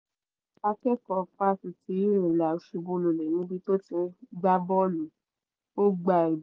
akẹ́kọ̀ọ́ fásitì unilag ṣubúlulẹ̀ níbi tó ti ń gbá bọ́ọ̀lù ó gba